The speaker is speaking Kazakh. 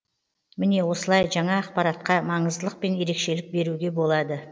міне осылай жаңа ақпаратқа маңыздылық пен ерекшілік беруге болады